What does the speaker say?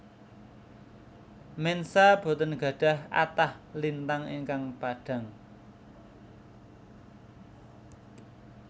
Mensa boten gadhah kathah lintang ingkang padhang